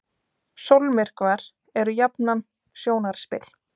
Sólmyrkvar eru jafnan sjónarspil.